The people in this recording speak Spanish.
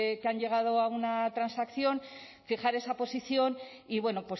que han llegado a una transacción fijar esa posición y bueno